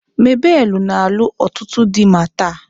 Mabelu na alu otutu di ma taa